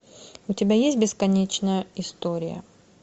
у тебя есть бесконечная история